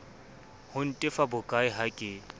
ho ntefa bokae ha ke